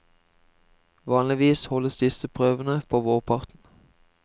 Vanligvis holdes disse prøvene på vårparten.